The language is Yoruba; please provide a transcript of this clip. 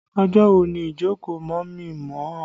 Ọjọ́ wo ni ìjókòó mọ̀mí-n-mọ̀-ọ́?